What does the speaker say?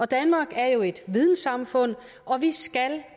danmark er jo et vidensamfund og vi skal